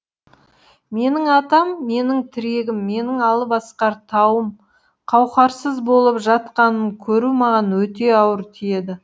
менің атам менің тірегім менің алып асқар тауым қауқарсыз болып жатқанын көру маған өте ауыр тиеді